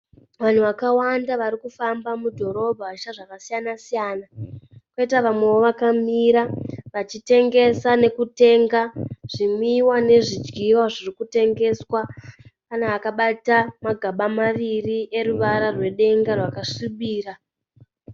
Vanhu vakawanda varikufamba mudhorobha vachiita zvakasiyana siyana. Kwoita vamwewo vakamira achitengesa nokutenga zvimwiwa nezvidyiwa zvirikutengeswa. Pane akabata magaba vaviri eruvara rwedenga rwakasvibira.